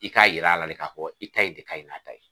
I k'a yir'a la de k'a fɔ i ta in de ka ɲi n'a ta ye.